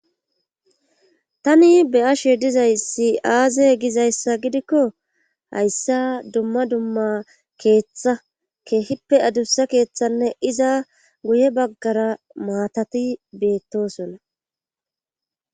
Tani be ashe dizayssi aaze gizayssa gidikko hayssa dumma dumma keeththa keehippe adussa keeththanne iza guye baggara maatati beettosona.